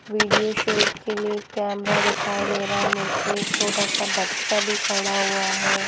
Video shoot के लिए camera दिखाई दे रहा है मुझे एक छोटा सा बच्चा भी खड़ा हुआ है।